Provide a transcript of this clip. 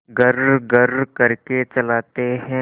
घर्रघर्र करके चलाते हैं